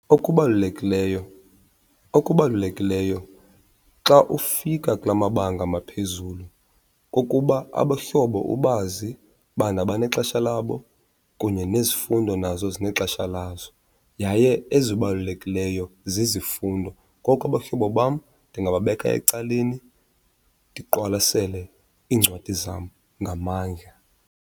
Okubalulekileyo, okubalulekileyo xa ufika kula mabanga maphezulu kukuba abahlobo ubazi bana banexesha labo kunye nezifundo nazo zinexesha lazo yaye ezibalulekileyo zizifundo. Koko abahlobo bam ndingababeka ecaleni ndiqwalasele iincwadi zam ngamandla.